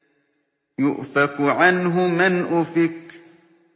يُؤْفَكُ عَنْهُ مَنْ أُفِكَ